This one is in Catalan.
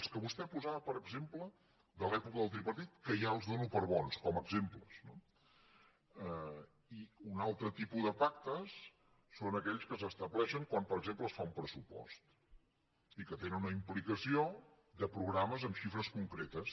els que vostè posava per exemple de l’època del tripartit que ja els dono per bons com a exemples no i un altre tipus de pactes són aquells que s’estableixen quan per exemple es fa un pressupost i que tenen una implicació de programes amb xifres concretes